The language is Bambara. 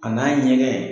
A n'a ɲɛgɛn